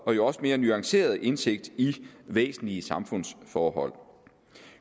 og jo også mere nuanceret indsigt i væsentlige samfundsforhold